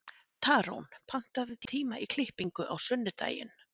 Tarón, pantaðu tíma í klippingu á sunnudaginn.